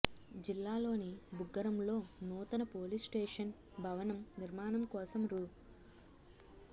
జిల్లాలోని బుగ్గరంలో నూతన పోలీస్స్టేషన్ భవ ణం నిర్మాణం కోసం రూ